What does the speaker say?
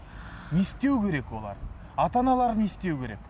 не істеу керек олар ата аналары не істеу керек